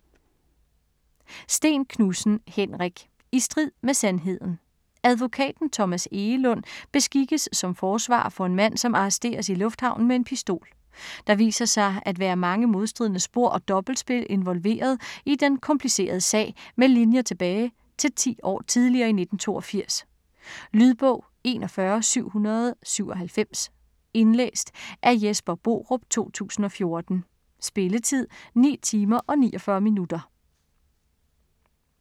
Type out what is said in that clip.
Sten-Knudsen, Henrik: I strid med sandheden Advokaten Thomas Egelund beskikkes som forsvarer for en mand, som arresteres i lufthavnen med en pistol. Der viser sig at være mange modstridende spor og dobbeltspil involveret i den komplicerede sag med linjer tilbage til 10 år tidligere i 1982. Lydbog 41797 Indlæst af Jesper Borup, 2014. Spilletid: 9 timer, 49 minutter.